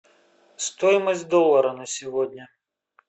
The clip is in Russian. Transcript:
стоимость доллара на сегодня